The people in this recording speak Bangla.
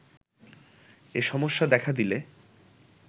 এ সমস্যা দেখা দিলে